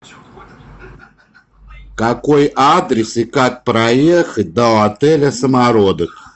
какой адрес и как проехать до отеля самородок